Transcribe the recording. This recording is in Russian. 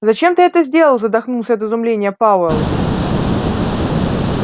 зачем ты это сделал задохнулся от изумления пауэлл